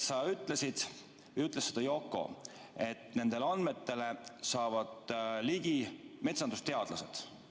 Sa ütlesid või ütles seda Yoko, et nendele andmetele saavad ligi metsandusteadlased.